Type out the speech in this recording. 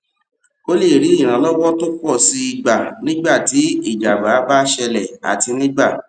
o lè rí ìrànlọwọ tó pọ sí i gbà nígbà tí ìjábá bá ṣẹlè àti nígbà